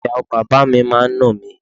Ìyàwó bàbá mi máa ń nà mí.